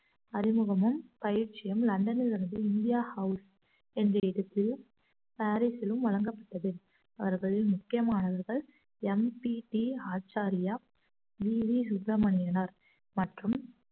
அறிமுகமும் பயிற்சியும் லண்டனிலிருந்து India House என்று பாரிஸிலும் வழங்கப்பட்டது அவர்களில் முக்கியமானவர்கள் M P T Acharya V V சுப்பிரமணியனார் மற்றும்